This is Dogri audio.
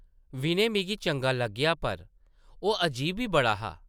विनय मिगी चंगा लग्गेआ पर ओह् अजीब बी बड़ा हा ।